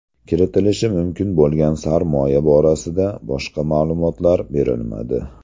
Kiritilishi mumkin bo‘lgan sarmoya borasida boshqa ma’lumotlar berilmadi.